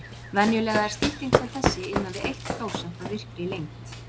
Venjulega er stytting sem þessi innan við eitt prósent af virkri lengd.